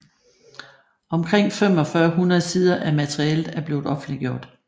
Omkring 4500 sider af materialet er blevet offentliggjort